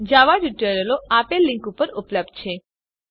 જાવા ટ્યુટોરીયલો આપેલ લીંક પર ઉપલબ્ધ છે